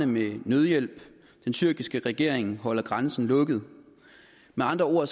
med nødhjælp den tyrkiske regering holder grænsen lukket med andre ord